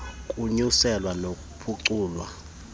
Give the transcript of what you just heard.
kukunyuswa nokuphuculwa kwamandla